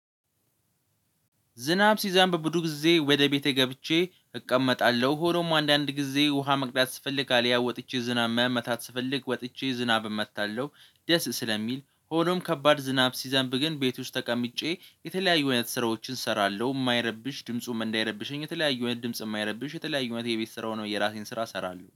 ዝናብ ሲዘንብ ብዙ ጊዜ ወደ ቤቴ ገብቼ እቀመጣለሁ ሆኖም አንዳንድ ጊዜ ውሃ መቅዳት ስፈልግ አልያ ወጥቼ ዝናብ መመታት ስፈልግ ወጥቼ ዝናብ እመታለሁ። ደስ ስለሚል ሆኖም ከባድ ዝናብ ሲዘንብ ግን ቤት ውስጥ ተቀምጬ የተለያዩ አይነት ስራዎችን እሰራለሁ የማይረብሽ ድምፁም እንዳይረብሽኝ የተለያዩ እውነት ድምፁም የማይረብሽ የተለያዩ አይነት የቤት ስራ ነው። የራሴን ስራ እሰራለሁ